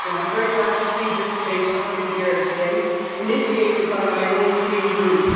I'm very glad to see this debate happening here today, initiated by my own Green Group.